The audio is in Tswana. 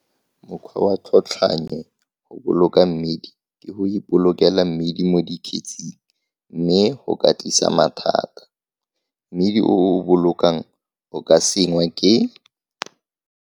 Mokgwa wa tlhotlhwannye go boloka mmidi ke go ipolokela mmidi mo dikgetsing, mme go ka tlisa mathata. Mmidi o o o bolokang o ka sengwa ke.